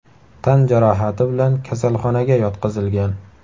tan jarohati bilan kasalxonaga yotqizilgan.